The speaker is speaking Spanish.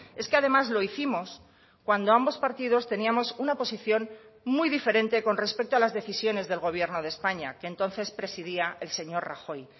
es que además lo hicimos cuando ambos partidos teníamos una posición muy diferente con respecto a las decisiones del gobierno de españa que entonces presidía el señor rajoy